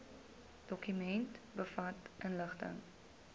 dokument bevat inligting